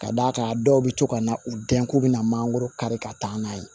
Ka d'a kan dɔw bɛ to ka na u dɛn k'u bɛna mangoro kari ka taa n'a ye